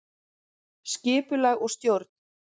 Skipulag og stjórn